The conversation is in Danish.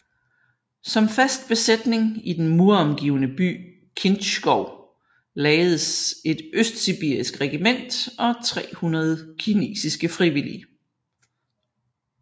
Som fast besætning i den muromgivne by Kintschou lagdes et østsibirisk regiment og 300 kinesiske frivillige